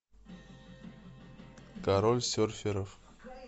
король серферов